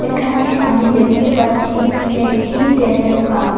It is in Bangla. এখানে আমি দেখতে পাচ্ছি একটি তেলের পাম্প ।